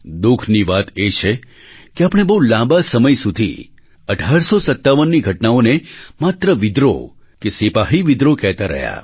દુઃખની વાત એ છે કે આપણે બહુ લાંબા સમય સુધી 1857ની ઘટનાઓને માત્ર વિદ્રોહ કે સિપાહી વિદ્રોહ કહેતા રહ્યા